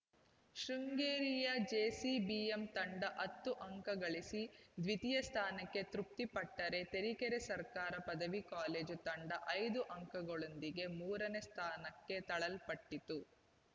ಶೃಂಗೇರಿಯ JCBM ತಂಡ ಹತ್ತು ಅಂಕ ಗಳಿಸಿ ದ್ವಿತೀಯ ಸ್ಥಾನಕ್ಕೆ ತೃಪ್ತಿಪಟ್ಟರೆ ತರೀಕೆರೆ ಸರ್ಕಾರಿ ಪದವಿ ಕಾಲೇಜು ತಂಡ ಐದು ಅಂಕದೊಂದಿಗೆ ಮೂರನೇ ಸ್ಥಾನಕ್ಕೆ ತಳ್ಳಲ್ಪಟ್ಟಿತು